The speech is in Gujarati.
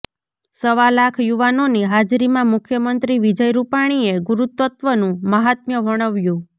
સવા લાખ યુવાનોની હાજરીમાં મુખ્યમંત્રી વિજય રૂપાણીએ ગુરુતત્ત્વનું મહાત્મ્ય વર્ણવ્યું